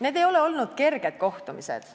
Need ei ole olnud kerged kohtumised.